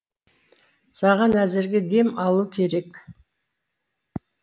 саған әзірге дем алу керек